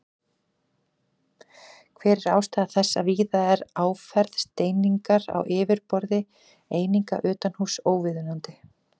Hver er ástæða þess að víða er áferð steiningar á yfirborði eininga utanhúss óviðunandi?